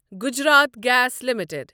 Gujarat gas limited